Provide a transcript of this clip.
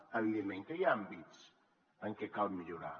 evidentment que hi ha àmbits en què cal millorar